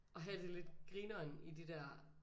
At have det lidt grineren i de der